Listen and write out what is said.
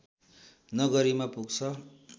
नगरीमा पुग्छ